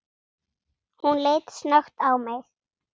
Hún leit snöggt á mig